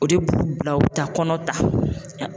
O de b'u bila u bɛ taa kɔnɔ ta